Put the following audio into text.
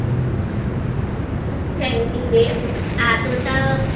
Thank You রে এতটা